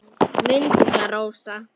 Mundu það, Rósa.